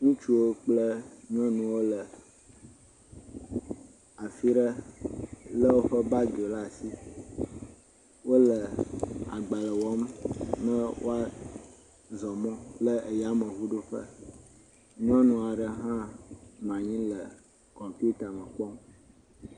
Ŋutsuwo kple nyɔnuwo le afi ɖe lé woƒe bagiwo laa si le agbalẽ wɔm ne woazɔ mɔ le yameŋuɖoƒe. Nyɔnu aɖe hã nɔ anyi le kɔmpiuta me kpɔm.